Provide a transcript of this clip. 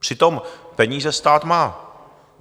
Přitom peníze stát má.